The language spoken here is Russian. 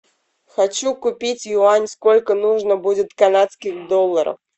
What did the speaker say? хочу купить юань сколько нужно будет канадских долларов